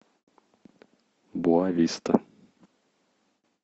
боа виста